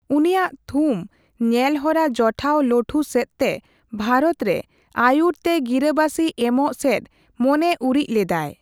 ᱩᱱᱤᱭᱟᱜ ᱛᱷᱩᱢ ᱧᱮᱞᱦᱚᱨᱟ ᱡᱚᱴᱷᱟᱣᱼᱞᱚᱴᱷᱩ ᱥᱮᱫ ᱛᱮ ᱵᱷᱟᱨᱚᱛ ᱫᱚ ᱟᱭᱩᱨ ᱛᱮ ᱜᱤᱨᱟᱹᱵᱟᱥᱤ ᱮᱢᱚᱜ ᱥᱮᱫ ᱢᱚᱱᱮᱩᱨᱤᱡ ᱞᱮᱫᱟᱭ ᱾